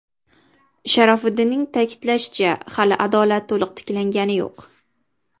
Sharofiddinning ta’kidlashicha hali adolat to‘liq tiklangani yo‘q.